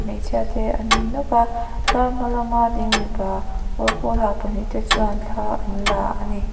hmeichhia te an ni nawk a tlar hma lama ding mipa kawr pawl ha pahnih te chuan thla anla a ni.